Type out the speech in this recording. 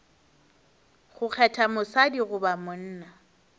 go kgetha mosadi goba monna